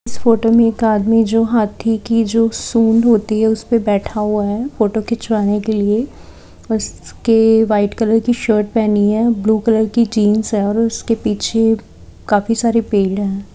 इस फोटो में एक आदमी जो हाथी की जो सूंड होती है उस पर बैठा हुआ है फोटो खींच वाने के लिए उसके वाइट कलर की शर्ट पहनी है ब्लू कलर की जीन्स है और उसके पीछे काफी सारे पेड़ है।